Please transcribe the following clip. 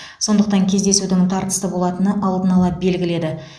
сондықтан кездесудің тартысты болатыны алдын ала белгілі еді